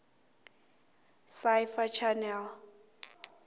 sci fi channel